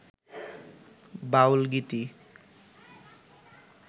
বাউল গীতি